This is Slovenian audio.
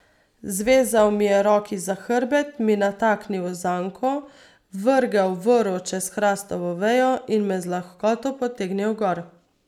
Zvezal mi je roki za hrbet, mi nataknil zanko, vrgel vrv čez hrastovo vejo in me z lahkoto potegnil gor.